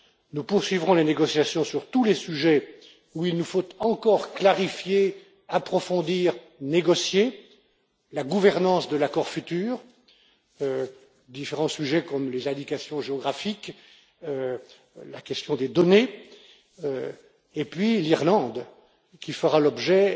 Nous poursuivrons les négociations sur tous les sujets où il nous faut encore clarifier, approfondir, négocier la gouvernance de l'accord futur, différents sujets comme les indications géographiques, la question des données et puis l'Irlande qui fera l'objet